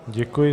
Děkuji.